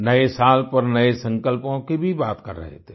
नए साल पर नए संकल्पों की भी बात कर रहे थे